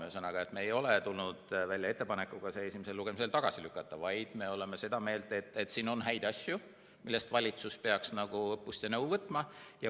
Ühesõnaga, me ei ole tulnud välja ettepanekuga eelnõu esimesel lugemisel tagasi lükata, vaid me oleme seda meelt, et siin on häid asju, millest valitsus peaks õppust võtma ja peaks nõu kuulda võtma.